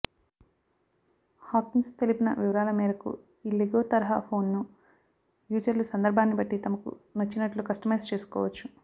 Hawkins తెలిపిన వివరాల మేరకు ఈ లెగో తరహా ఫోన్ను యూజర్లు సందర్బాన్ని బట్టి తమకు నచ్చినట్లు కస్టమైజ్ చేసుకోవచ్చు